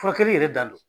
Furakɛli yɛrɛ dan don